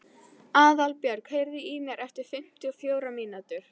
Aðalbjörg, heyrðu í mér eftir fimmtíu og fjórar mínútur.